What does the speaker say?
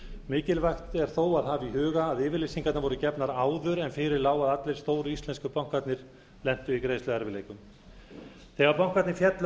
mikilvægt er þó að hafa í huga að yfirlýsingarnar voru gefnar áður en fyrir lá að allir stóru íslensku bankarnir lentu í greiðsluerfiðleikum þegar bankarnir féllu